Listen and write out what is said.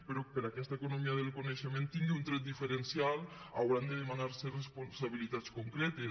però perquè aquesta economia del coneixement tingui un tret diferencial hauran de demanar se responsabilitats concretes